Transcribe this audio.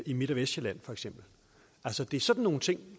i midt og vestsjælland altså det er sådan nogle ting